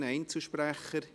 Gibt es Einzelsprechende?